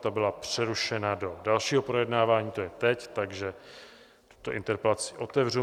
Ta byla přerušena do dalšího projednávání, to je teď, takže tuto interpelaci otevřu.